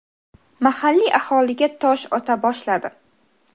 mahalliy aholiga tosh ota boshladi.